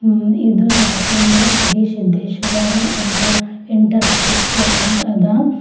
ಇದರ ಹೆಸರು ಅಂದ್ರೆ ಶ್ರೀ ಸಿದ್ದೇಶ್ವರ ಎಂತ ಎಟರ್ ಪ್ರೈಸಸ್ ಅಂತ ಅದ.